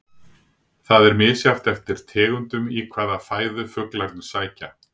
Það er misjafnt eftir tegundum í hvaða fæðu fuglarnir sækja.